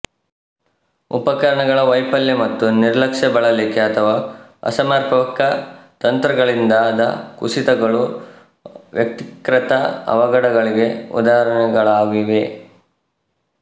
ಉಪಕರಣಗಳ ವೈಫಲ್ಯ ಮತ್ತು ನಿರ್ಲಕ್ಷ್ಯ ಬಳಲಿಕೆ ಅಥವಾ ಅಸಮರ್ಪಕ ತಂತ್ರಗಳಿಂದಾದ ಕುಸಿತಗಳು ವ್ಯಕ್ತಿಕೃತ ಅವಘಡಗಳಿಗೆ ಉದಾಹರಣೆಗಳಾಗಿವೆ